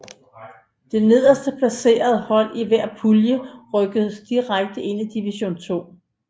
Det nederst placerede hold i hver pulje rykkede direkte ned i Division II